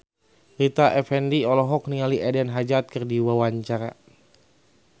Rita Effendy olohok ningali Eden Hazard keur diwawancara